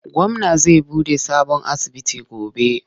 Gwamna za buɗe sabon asibiti gobe.